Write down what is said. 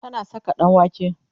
tana Saka ɗanwake